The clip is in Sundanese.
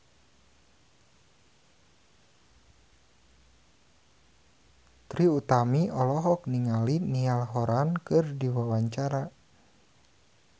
Trie Utami olohok ningali Niall Horran keur diwawancara